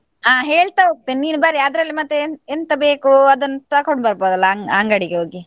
ಹಾ ಹೇಳ್ತಾ ಹೋಗ್ತೇನೆ ನೀನು ಬರೀ ಅದ್ರಲ್ಲಿ ಮತ್ತೆ ಎಂ~ ಎಂತ ಬೇಕು ಅದನ್ನು ತಕೊಂಡು ಬೋರ್ಬೊದಲ್ಲ ಅಂ~ ಅಂಗಡಿಗೆ ಹೋಗಿ.